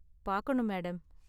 பாக்கணும் மேடம்.